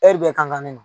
Hɛri bɛɛ kan ka ne